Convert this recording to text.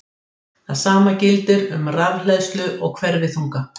Það sama gildir um rafhleðslu og hverfiþunga.